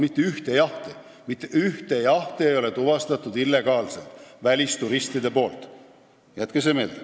Mitte ühtegi illegaalset välisturistide jahti ei ole tuvastatud – jätke see meelde!